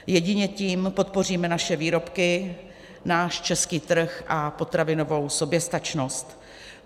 Jedině tím podpoříme naše výrobky, náš český trh a potravinovou soběstačnost.